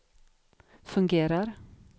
fungerar